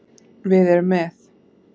Við erum með